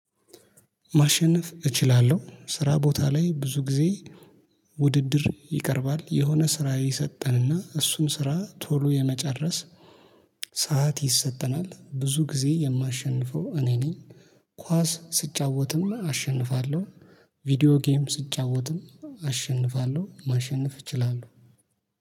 ማሸነፍ እችላለሁ ስራ ቦታ ላይ ብዙ ጊዜ። ውድድር ይቀርባል የሆነ ስራ ይሰጠን እና እሱን ስራ ቶሎ የመጨረስ ሰዓት ይሰጠናል። ብዙ ጊዜ የማሸንፈው እኔ ነኝ። ኳስ ስጫወትም አሸንፋለሁ። ቪዲዮ ጌም ስጫወትም አሸንፋለሁ ማሸነፍ እችላለሁ